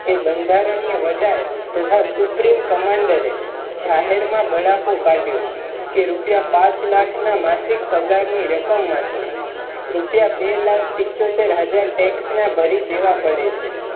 એ બંધારણીય વડાઈ તથા સુપ્રીમ commander જાહેર મા બળાપો કાઢયો કે રૂપિયા પાંચ લાખ ના માસિક પગારની રકમમાંથી રપિયા બે લાખ પિચ્ચતર હાજર Tax ના ભરી દેવા પડે છે